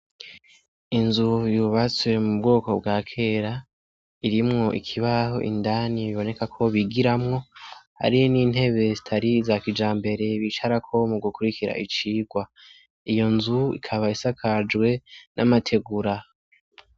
Inzu yubatswe m'ubwoko bwa kera irimwo ikibaho indani biboneka ko bigiramwo, hamwe n'intebe zitari iza kijambere, bicarako mugukurikira icirwa, iyo nzu ikaba isakajwe n'amategura.